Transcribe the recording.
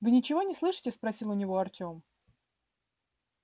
вы ничего не слышите спросил у него артём